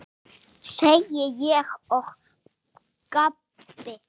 segi ég og gapi.